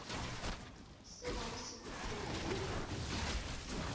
se bona se khukhuna le